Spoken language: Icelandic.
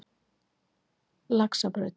Laxabraut